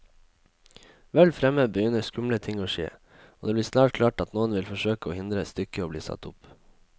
Vel fremme begynner skumle ting å skje, og det blir snart klart at noen vil forsøke å hindre stykket i bli satt opp.